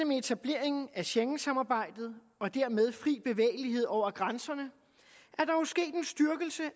med etableringen af schengensamarbejdet og dermed den fri bevægelighed over grænserne